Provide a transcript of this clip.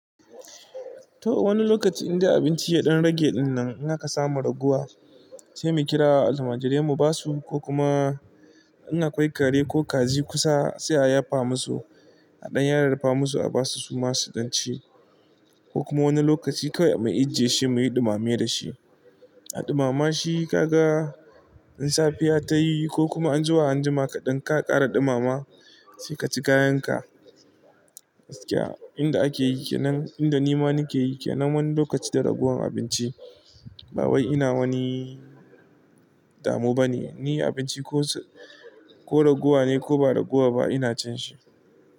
To wani lokaci inda abinci ya ɗan rage ɗinnan, in haka samu raguwa sai mu kira almajirai mu ba su ko kuma in akwai kare ko kaji kusa sai a yafa musu a ɗan yaryarfa musu a ba su su masu ɗan ci ko kuma wani lokaci kawai mu ijjiye shi muyi ɗumame da shi. A ɗumama shi kaga in safiya ta yi ko kuma an ji zuwa anjima ka ɗan ka ƙara ɗumama sai ka ci kayan ka. Inda ake yike nan, inda nima nake yike nan wani lokaci da ragowar abinci ba wai ina wani damu ba ne, ni abinci ko, ko raguwa ne ko ba raguwa ba ina cin shi.